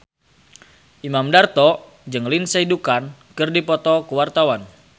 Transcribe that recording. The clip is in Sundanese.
Imam Darto jeung Lindsay Ducan keur dipoto ku wartawan